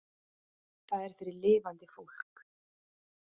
Það er fyrir lifandi fólk.